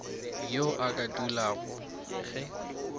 yo a ka dumelago ge